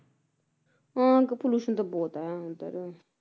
ਹੁੰ pollution ਤਾਂ ਬਹੁਤ ਆ ਉਧਰ